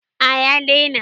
A ya daina